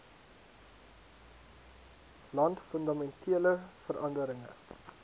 land fundamentele veranderinge